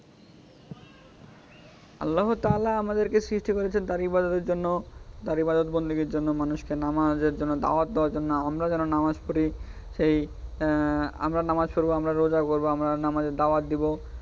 আল্লাহ্‌ তালহা আমদেরকে সৃষ্টি করেছেন তার ইবাদতের জন্য তার ইবাদত বন্দেগির জন্য মানুষকে নামাজের জন্য দাওয়াত দেওয়ার জন্য আমরা যারা নামাজ পড়ি এই আহ আমরা নামাজ পড়বো আমরা রোজা করব আমরা নামাজের দাওয়াত দিব.